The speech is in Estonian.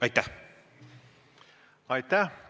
Aitäh!